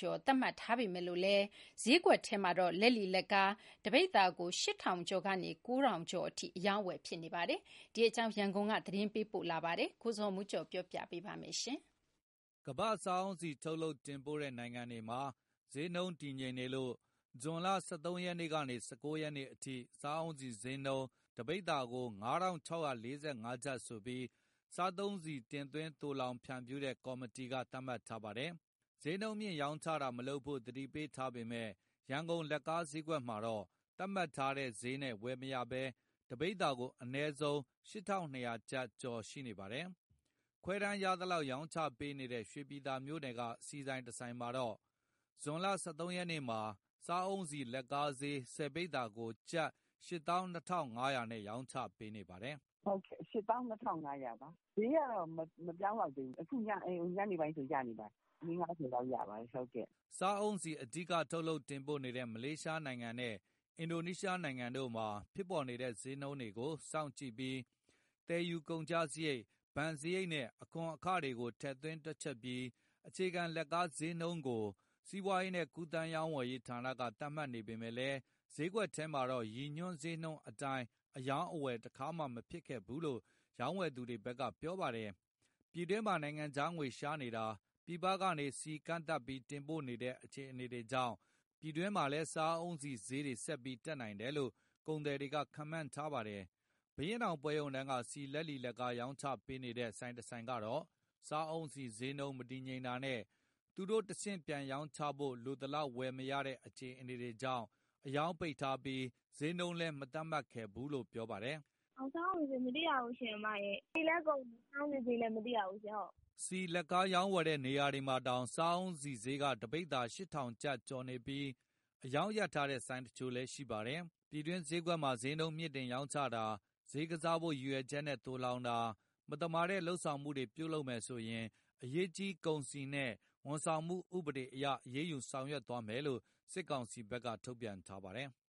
ျပ် သတ်မှတ်ထားပေမယ့် ဈေးကွက်ထဲမှာတော့ လက်လီ၊ လက်ကားဈေး တပိဿာ ၈,၀၀၀ ကျော်ကနေ ၉,၀၀၀ ကျပ်အထိ အရောင်းအဝယ်ဖြစ်နေပါတယ်။ ဒီအကြောင်း ရန်ကုန်ကပေးပို့ထားတဲ့ သတင်းကို ကိုဇော်မိုးကျော် ပြောပြမှာပါ။ ကမ္ဘာ့စားအုန်းဆီ ထုတ်လုပ်တင်ပို့တဲ့ နိုင်ငံတွေမှာ ဈေးနှုန်းတည်ငြိမ်နေလို့ ဇွန်လ ၁၃ ရက်ကနေ ၁၉ ရက်နေ့အထိ စားအုန်းဆီဈေးနှုန်း တပိဿာ ၅,၆၄၅ ကျပ်ဆိုပြီး စားသုံးဆီတင်သွင်းသိုလှောင် ဖြန့်ဖြူးတဲ့ကော်မတီက သတ်မှတ်ထားတာပါ။ ဈေးနှုန်းမြှင့်ရောင်းချတာမလုပ်ဖို့ သတိပေးထားပေမယ့် ရန်ကုန်လက်ကားဈေးကွက်မှာတော့ သတ်မှတ်ထားတဲ့ ရည်ညွှန်းဈေးနဲ့ ဝယ်မရဘဲ တပိဿာကို အနည်းဆုံး ၈,၂၀၀ ကျော်ကနေ စရှိနေပါတယ်။ ခွဲတမ်းရသလောက် ရောင်းချပေးနေတဲ့ ရွှေပြည်သာမြို့နယ်က ဆီဆိုင်တဆိုင်မှာတော့ ဒီနေ့ ဇွန်လ ၁၃ ရက်နေ့မှာ စားအုန်းဆီလက်ကားဈေး ၁၀ ပိဿာကို ကျပ် ၈၂,၅၀၀ နဲ့ ရောင်းချပေးနေပါတယ်။ "၁၀ ပိဿာဈေး ၈၂,၅၀၀ ပါ။ ဈေးနှုန်းကတော့ အပြောင်းအလဲ မရှိသေးဘူး။ မနက်မှာရင် ညနေလောက်ဆို ရပါတယ်။ တယောက်ကို ပိဿာ ၄၀၊ ၅၀ အထိ ရောင်းပေးပါတယ်။" စားအုန်းဆီ အဓိကထုတ်လုပ်တင်ပို့နေတဲ့ မလေးရှားနိုင်ငံနဲ့ အင်ဒိုနီးရှားနိုင်ငံတို့မှာ ဖြစ်ပေါ်နေတဲ့ ဈေးနှုန်းတွေကို စောင့်ကြည့်ပြီး သယ်ယူကုန်ကျစရိတ်၊ ဘဏ်စရိတ်နဲ့ အခွန်အခတွေကို ထည့်သွင်းတွက်ချက်ပြီး အခြေခံလက်ကားဈေးနှုန်း စီးပွားကူးသန်းက သတ်မှတ်နေပေမယ့်လည်း ဈေးကွက်ထဲမှာတော့ ရည်ညွှန်းဈေးနှုန်းအတိုင်း အရောင်းအဝယ် တခါမှမဖြစ်ခဲ့ဘူးလို့ ရောင်းဝယ်သူတွေဘက်က ပြောပါတယ်။ ပြည်တွင်းမှာ နိုင်ငံခြားငွေရှားနေတာ၊ ပြည်ပကနေ ဆီကန့်သတ်ပြီး တင်ပို့တဲ့ အခြေအနေတွေကြောင့် ပြည်တွင်းမှာလည်း စားအုန်းဆီဈေးတွေ ဆက်ပြီးတက်နိုင်တယ်လို့ ကုန်သည်တွေက ခန့်မှန်းထားပါတယ်။ ဘုရင့်နောင်ပွဲရုံတန်းက ဆီလက်လီ၊ လက်ကားရောင်းချပေးနေတဲ့ ဆိုင်တဆိုင်ကတော့ စားအုန်းဆီဈေးနှုန်း မတည်ငြိမ်တာနဲ့ သူတို့တဆင့်ပြန်ရောင်းချဖို့ လိုသလောက်ဝယ်မရတဲ့ အခြေအနေတွေကြောင့် အရောင်းပိတ်ထားပြီး ဈေးနှုန်းလည်း မသတ်မှတ်ခဲ့ဘူးလို့ ပြောပါတယ်။ "စားအုန်းဆီဈေး မသိရဘူး။ ဆီလည်းကုန် စားအုန်းဆီဈေးလည်း မသိရဘူး။" ဆီလက်ကားရောင်းဝယ်တဲ့ နေရာတွေမှာတောင် စားအုန်းဆီဈေးက တပိဿာ ကျပ် ၈,၀၀၀ ကျော်နေပြီး အရောင်းရပ်ထားတဲ့ ဆိုင်တချို့လည်း ရှိပါတယ်။ ပြည်တွင်းဈေးကွက်မှာ ဈေးနှုန်းမြှင့်တင် ရောင်းချတာ၊ ဈေးကစားဖို့ ရည်ရွယ်ချက်နဲ့ သိုလှောင်တာ၊ မသမာတဲ့လုပ်ဆောင်မှုတွေ ပြုလုပ်မယ်ဆို အရေးကြီးကုန်စည်နှင့် ဝန်ဆောင်မှုဥပဒေအရ အရေးယူဆောင်ရွက်သွားမယ်လို့ စစ်ကောင်စီဘက်က ထုတ်ပြန်ထားပါတယ်။